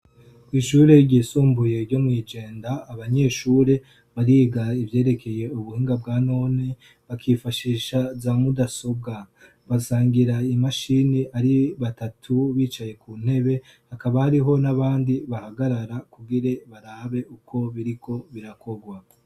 Kwishure ryisumbuye ryo mw'ijenda abanyeshure bariga ivyerekeye ubuhinga bwa none bakifashisha za mudasobwa. Basangira imashini ari batatu bicaye ku ntebe. Hakaba hariho n'abandi bahagarara kugira barabe uko biriko birakorwa.